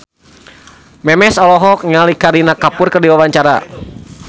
Memes olohok ningali Kareena Kapoor keur diwawancara